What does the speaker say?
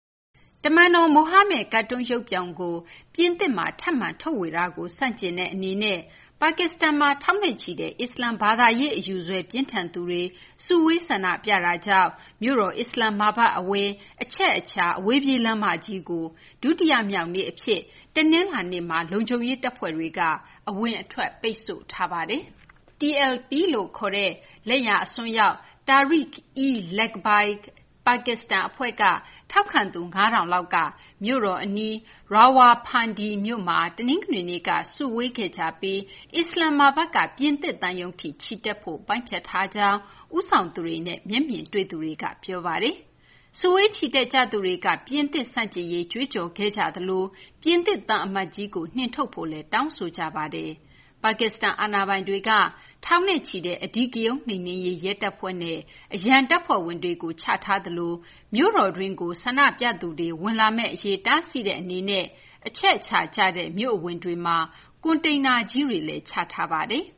တမန်တော် မိုဟာမက် ကာတွန်းရုပ်ပြောင်ကို ပြင်သစ်မှာ ထပ်မံ ထုတ်ဝေတာကို ဆန့်ကျင်တဲ့ အနေနဲ့ ပါကစ္စတန်မှာ ထောင်နဲ့ချီတဲ့ အစ္စလာမ် ဘာသာရေး အယူစွဲ ပြင်းထန်သူတွေ စုဝေးဆန္ဒပြတာကြောင့် မြို့တော် အစ္စလာမ္မာဘတ် အဝင် အချက်အချာ အဝေးပြေး လမ်းမကြီးကို ဒုတိယမြောက်နေ့ အဖြစ် တနလာၤနေ့မှာ လုံခြုံရေး တပ်ဖွဲ့တွေက အဝင် အထွက် ပိတ်ဆို့ထားပါတယ်။ TLP လို့ ခေါ်တဲ့ လက်ယာ အစွန်းရောက် Tehreek-e-Labbaik Pakistan အဖွဲ့က ထောက်ခံသူ ၅,၀၀၀ လောက်က မြို့တော် အနီး Rawalpindi မြို့မှာ တနင်္ဂနွေနေ့က စတင် စုဝေးခဲ့ကြပြီး အစ္စလာမ္မာဘတ်က ပြင်သစ် သံရုံးထိ ချီတက်ဖို့ ပိုင်းဖြတ်ထားကြောင်း ဦးဆောင်သူတွေနဲ့ မျက်မြင်တွေ့သူတွေက ပြောပါတယ်။ စုဝေးချီတက်ကြသူတွေက ပြင်သစ် ဆန့်ကျင်ရေး ကြွေးကြော်ခဲ့ကြသလို ပြင်သစ် သံအမတ်ကြီးကို နှင်ထုတ်ဖို့လည်း တောင်းဆိုကြပါတယ်။ ပါကစ္စတန် အာဏာပိုင်တွေက ထောင်နဲ့ချီတဲ့ အဓိကရုဏ်း နှိမ်နှင်းရေး ရဲတပ်ဖွဲ့နဲ့ အရန်တပ်ဖွဲ့ဝင်တွေကို ချထားသလို မြို့တော်တွင်းကို ဆန္ဒပြသူတွေ ဝင်ရောက်လာမယ့်အရေး တားဆီးတဲ့ အနေနဲ့ အချက်အချာကျတဲ့ မြို့အဝင်တွေမှာ ကွန်တိန်နာ ကြီးတွေလည်း ချထားပါတယ်။